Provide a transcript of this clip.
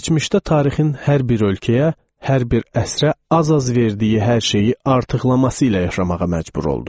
Keçmişdə tarixin hər bir ölkəyə, hər bir əsrə az-az verdiyi hər şeyi artıqlaması ilə yaşamağa məcbur olduq.